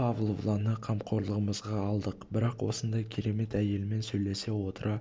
павловнаны қамқорлығымызға алдық бірақ осындай керемет әйелмен сөйлесе отыра